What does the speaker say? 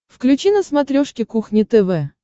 включи на смотрешке кухня тв